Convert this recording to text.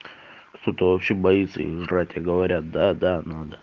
кто-то вообще боится их жрать а говорят да да надо